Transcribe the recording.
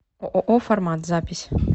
ооо формат запись